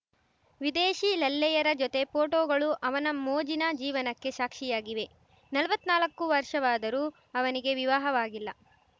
ವಿದೇಶಿ ಲಲ್ಲೆಯರ ಜೊತೆ ಪೋಟೋಗಳು ಅವನ ಮೋಜಿನ ಜೀವನಕ್ಕೆ ಸಾಕ್ಷಿಯಾಗಿವೆ ನಲ್ವತ್ನಾಲಕ್ಕು ವರ್ಷವಾದರೂ ಅವನಿಗೆ ವಿವಾಹವಾಗಿಲ್ಲ